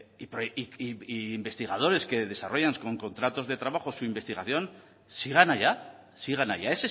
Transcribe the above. decir e investigadores que desarrollan con contratos de trabajo su investigación sigan allá sigan allá